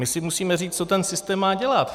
My si musíme říct, co ten systém má dělat.